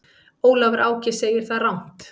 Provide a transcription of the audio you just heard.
Ólafur Áki segir það rangt.